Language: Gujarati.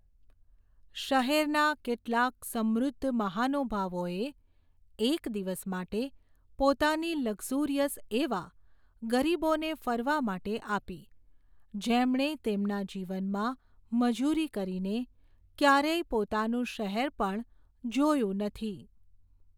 શહેરના કેટલાંક સમૃદ્ધ મહાનૂભાવોએ, એક દિવસ માટે, પોતાની લક્ઝૂરિયસ એવા, ગરીબોને ફરવા માટે આપી, જેમણે તેમના જીવનમાં મજૂરી કરીને, ક્યારેય પોતાનું શહેર પણ જોયું નથી.